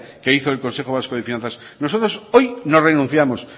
que hizo el consejo vasco de finanzas nosotros hoy no renunciamos